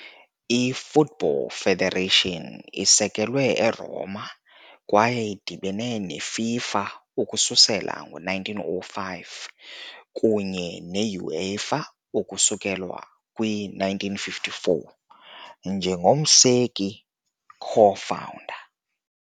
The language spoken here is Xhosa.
I-Football Federation isekelwe eRoma kwaye idibene neFIFA ukususela ngo-1905 kunye ne- UEFA ukususela kwi-1954, njengomseki-co-founder.